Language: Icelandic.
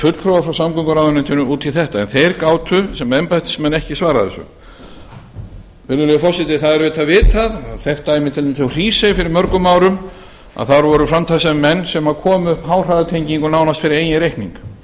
fulltrúa frá samgönguráðuneytinu út í þetta en þeir gátu sem embættismenn ekki svarað þessu virðulegi forseti það er auðvitað vitað þekkt dæmi til dæmis úr hrísey fyrir mörgum árum að þar voru framtakssamir menn sem komu upp háhraðatengingu nánast fyrir eigin reikning